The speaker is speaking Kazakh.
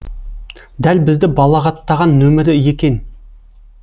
дәл бізді балағаттаған нөмірі екен